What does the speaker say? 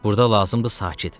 Burda lazımdır sakit.